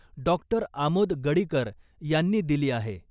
डॉ . आमोद गडीकर यांनी दिली आहे .